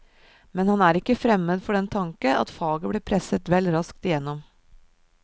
Men han er ikke fremmed for den tanke at faget ble presset vel raskt igjennom.